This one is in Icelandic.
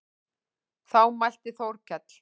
Þá mælti Þórkell